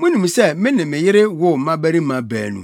‘Munim sɛ me ne me yere woo mmabarima baanu.